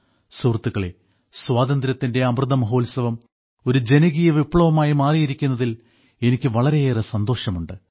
സുഹൃത്തുക്കളേ സ്വാതന്ത്ര്യത്തിന്റെ അമൃതമഹോത്സവം ഒരു ജനകീയ വിപ്ലവമായി മാറിയിരിക്കുന്നതിൽ എനിക്ക് വളരെയേറെ സന്തോഷമുണ്ട്